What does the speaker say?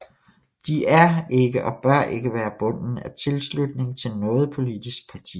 De er ikke og bør ikke være bunden af tilslutning til noget politisk parti